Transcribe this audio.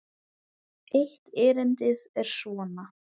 Eitt erindið er svona